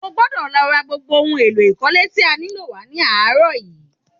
O gbọ́dọ̀ lọ ra gbogbo ohun èlò ikọ̀le tí a nílò wá ní àárọ̀ yìí!